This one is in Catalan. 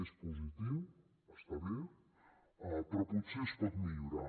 és positiu està bé però potser es pot millorar